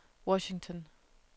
Washington